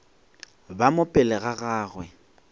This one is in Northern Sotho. bo mo pele ga gagwe